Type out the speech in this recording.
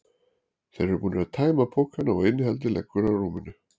Þeir eru búnir að tæma pokana og innihaldið liggur á rúminu.